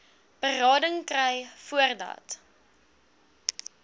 berading kry voordat